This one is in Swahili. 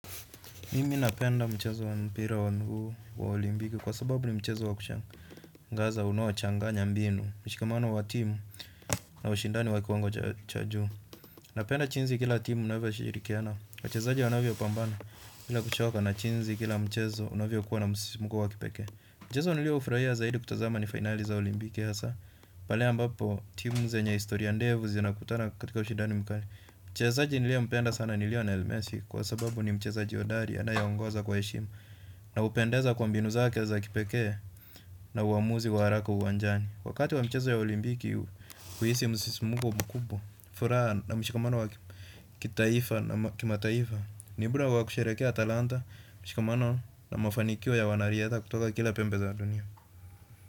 Mimi napenda mchezo wa mpira wa miguu wa olimpiki kwa sababu ni mchezo wa kushangaza, unaochanganya mbinu, mshikamano wa timu na ushindani wa kiwango cha juu. Napenda jinsi kila timu na huwa tunashirikiana, kwa wachezaji wanavyokabana, ila kuchoka kunatokana na kuchezea kila mchezo unavyokuwa na mguso wa kipekee. Mchezo niliopenda zaidi kutazama ni fainali za olimpiki ya saa, pale ambapo timu zenye historia ndefu zinakutana katika ushindani mkali. Mchezaji niliyempenda sana ni Lionel Messi kwa sababu ni mchezaji bora anayeongoza kwa heshima. Na hupendeza na mbinu zake za kipekee na uamuzi wa haraka uwanjani. Wakati wa michezo ya olimpiki, huhisi msisimko mkubwa, furaha na mshikamano wa kitaifa na kimataifa. Ni nafasi ya kusherekea utamaduni, mshikamano na mafanikio ya wanariadha kutoka kila pembe za dunia.